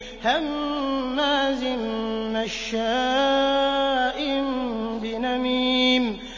هَمَّازٍ مَّشَّاءٍ بِنَمِيمٍ